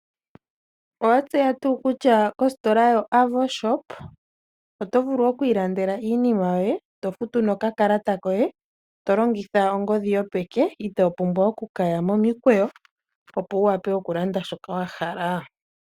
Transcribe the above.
Owa tseya ngaa kutya kositola yo-Avo Super shop oto vulu okwiilandela iinima yoye, eto futu nokalata koye to longitha ongodhi yopeke, ito pumbwa okuya momikweyo opo wu wape okulanda shoka wa hala?